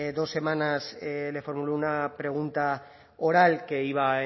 dos semanas le formulé una pregunta oral que iba